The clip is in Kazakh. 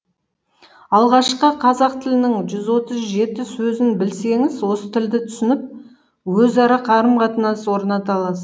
алғашқы қазақ тілінің жүз отыз жеті сөзін білсеңіз осы тілді түсініп өзара қарым қатынас орната аласыз